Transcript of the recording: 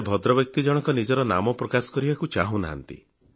ସେ ଭଦ୍ରବ୍ୟକ୍ତି ଜଣକ ନିଜର ନାମ ପ୍ରକାଶ କରିବାକୁ ଚାହୁନାହାଁନ୍ତି